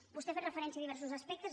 vostè ha fet referència a diversos aspectes